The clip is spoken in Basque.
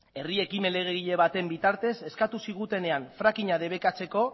herri ekimen legegile baten bitartez eskatu zigutenean fracking a debekatzeko